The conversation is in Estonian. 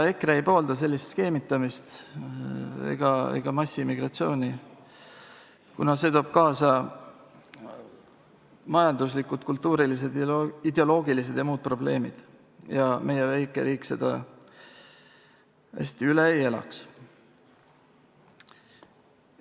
EKRE ei poolda sellist skeemitamist ega massiimmigratsiooni, kuna see toob kaasa majanduslikud, kultuurilised, ideoloogilised ja muud probleemid, mida meie väike riik hästi üle ei elaks.